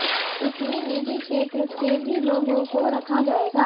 इसमें निजी क्षेत्र से भी लोगों को रखा जाएगा